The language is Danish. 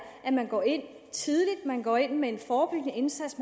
at man går ind tidligt at man går ind med en forebyggende indsats